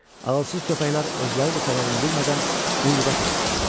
Ağılsız köpəklər özləri də səbəbini bilmədən quyruğa tərəf cumuldular.